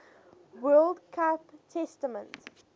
world cup tournament